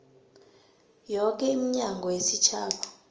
yoke iminyango yesitjhaba